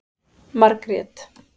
Margrét